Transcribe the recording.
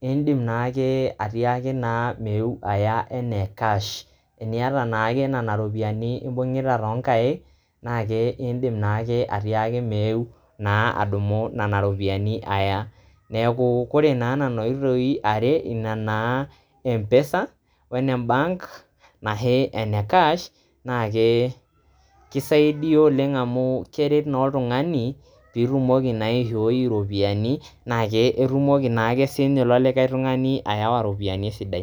indiim naake atiaki naa meeu aya enaa cash, inieta naake nenia iropiyiani imbung'ta too nkaik naake iindim naake atiaki meeu naa adumuo naa nenia iropiyiani aaya, naaku kore naa nena oitoi are ina naa empesa oo ne embaank nashii oone cash keisaidiya oleng amuu keret naa oltungani piitumoki naa aishooi iropiyiani naake irumoki siaake ninye ilo tungani likae aawa iropiyiani esidai.